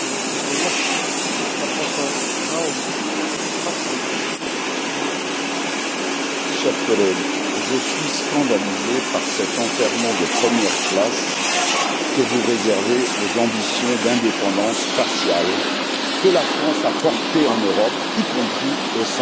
Monsieur le Président, chers collègues, je suis scandalisé par cet enterrement de première classe que vous réservez aux ambitions d'indépendance spatiale que la France a portées en Europe, y compris au sein de l'Agence spatiale.